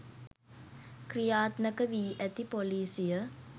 ක්‍රියාත්මක වී ඇති ‍පොලිසිය